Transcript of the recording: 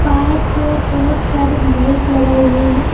बाहर की ओर बहुत सारी बाइक लगाई हुई है।